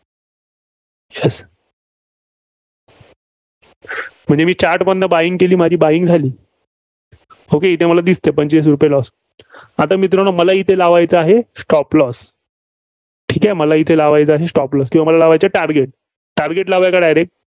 म्हणजे मी chart मधनं buying केली. माझी buying झाली. okay इथं मला दिसतंय पंचवीस रुपये loss आता मित्रांनो मला इथं लावायचा आहे, stop loss ठीक आहे, मला इथं लावायचा आहे Stop loss किंवा मला लावायचे आहे target target लावायाचा direct